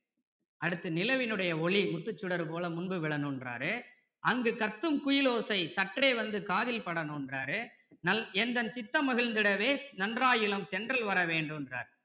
அடுத்து நிலவின்னுடைய ஒளி முத்துச் சுடர்போல முன்பு விழணுங்கறாரு அங்கு கத்தும் குயில் ஓசை சற்றே வந்து காதில் படணுங்கறாரு எந்தன் சித்தம் மகிழ்ந்திடவே நன்றாயிளந்தென்றல் வரவேண்டுங்கறாரு